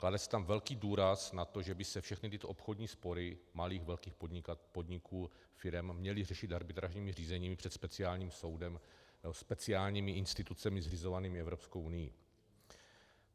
Klade se tam velký důraz na to, že by se všechny tyto obchodní spory malých, velkých podniků, firem měly řešit arbitrážními řízeními před speciálním soudem, speciálními institucemi zřizovanými Evropskou unií.